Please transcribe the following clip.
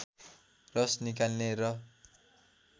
रस निकाल्ने र